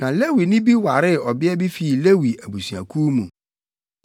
Na Lewini bi waree ɔbea bi fii Lewi abusuakuw mu.